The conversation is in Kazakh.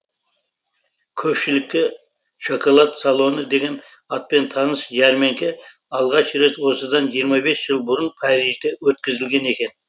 көпшілікке шоколад салоны деген атпен таныс жәрмеңке алғаш рет осыдан жиырма бес жыл бұрын парижде өткізілген екен